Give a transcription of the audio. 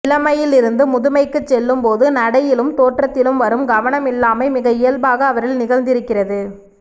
இளமையிலிருந்து முதுமைக்குச் செல்லும்போது நடையிலும் தோற்றத்திலும் வரும் கவனமில்லாமை மிக இயல்பாக அவரில் நிகழ்ந்திருக்கிறது